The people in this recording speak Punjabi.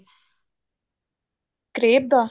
crave the